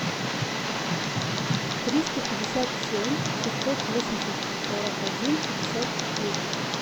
триста пятьдесят семь шестьсот восемьдесят сорок один шестьдесят десять